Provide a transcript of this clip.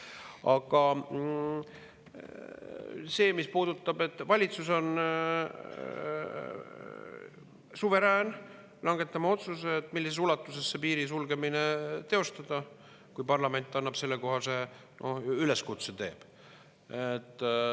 Aga valitsus on suverään langetama otsuse, millises ulatuses piiri sulgemine teostada, kui parlament teeb sellekohase üleskutse.